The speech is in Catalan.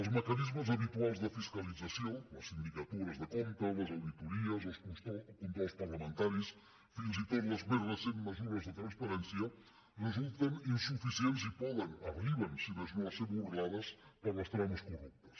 els mecanismes habituals de fiscalització les sindicatures de comptes les auditories els controls parlamentaris fins i tot les més recents mesures de transparència resulten insuficients i arriben si més no a ser burlades per les trames corruptes